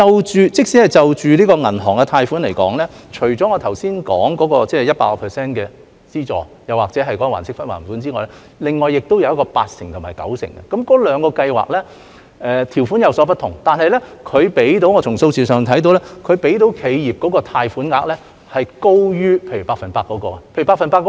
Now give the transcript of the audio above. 即使就銀行貸款而言，除了我剛才說的百分百特惠低息貸款又或還息不還本之外，還有八成和九成信貸擔保，那兩個計劃的條款有所不同，但從數字上看到，提供給企業的貸款額是高於例如百分百特惠低息貸款的。